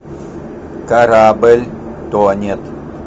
корабль тонет